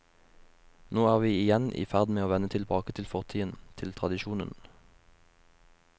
Nå er vi igjen i ferd med å vende tilbake til fortiden, til tradisjonen.